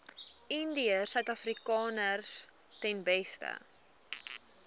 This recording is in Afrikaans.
indiërsuidafrikaners ten beste